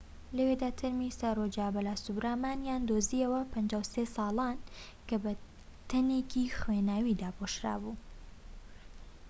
لەوێدا تەرمی سارۆجا بالاسوبرامانیان دۆزییەوە 53 ساڵان کە بە بەتانیەکی خوێناوی داپۆشرابوو